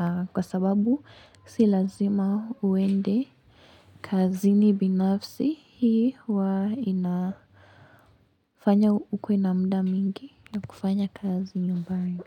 aah kwa sababu si lazima uende kazini binafsi hii huwa inafanya ukue na mda mwingi na kufanya kazi nyumbani.